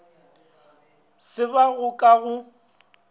se ba go ka go